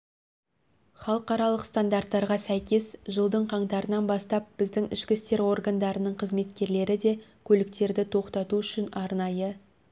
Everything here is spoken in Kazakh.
халықаралық стандарттарға сәйкес жылдың қаңтарынан бастап біздің ішкі істер органдарының қызметкерлері де көліктерді тоқтату үшін арнайы